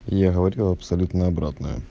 я говорю абсолютно обратное